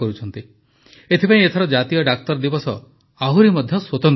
ଏଥିପାଇଁ ଏଥର ଜାତୀୟ ଡାକ୍ତର ଦିବସ ଆହୁରି ମଧ୍ୟ ସ୍ୱତନ୍ତ୍ର ହୋଇଛି